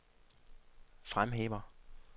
fremhæver